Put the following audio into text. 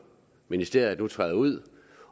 ministeriet nu træder ud